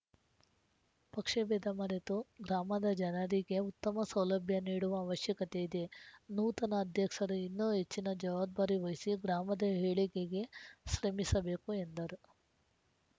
ಪಕ್ಷಭೇದ ಮರೆತು ದಾಮದ ಜನರಿಗೆ ಉತ್ತಮ ಸೌಲಭ್ಯ ನೀಡುವ ಅವಶ್ಯಕತೆ ಇದೆ ನೂತನ ಅಧ್ಯಕ್ಸರು ಇನ್ನೂ ಹೆಚ್ಚಿನ ಜವಾಬ್ದಾರಿ ವಹಿಸಿ ಗ್ರಾಮದ ಏಳಿಗೆಗೆ ಶ್ರಮಿಸಬೇಕು ಎಂದರು